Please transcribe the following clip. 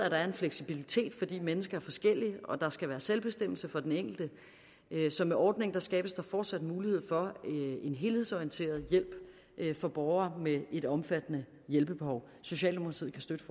er en fleksibilitet fordi mennesker er forskellige og fordi der skal være selvbestemmelse for den enkelte så med ordningen skabes der fortsat mulighed for en helhedsorienteret hjælp for borgere med et omfattende hjælpebehov socialdemokratiet kan støtte